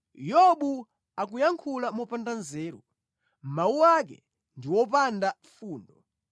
‘Yobu akuyankhula mopanda nzeru; mawu ake ndi opanda fundo.’